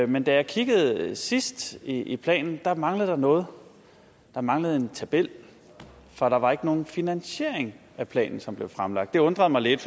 men da jeg kiggede sidst i planen manglede der noget der manglede en tabel for der var ikke nogen finansiering af planen som blev fremlagt det undrede mig lidt